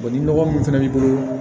ni nɔgɔ min fɛnɛ b'i bolo